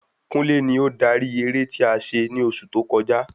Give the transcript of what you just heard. Kúnlé ni ó darí eré ti a se ni oṣù tó kọjá